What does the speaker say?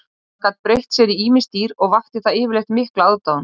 Hann gat breytt sér í ýmis dýr og vakti það yfirleitt mikla aðdáun.